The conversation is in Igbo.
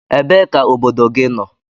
Ebee ka obodo gị nọ?